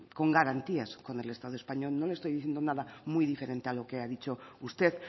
con garantías con el estado español no le estoy diciendo nada muy diferente a lo que ha dicho usted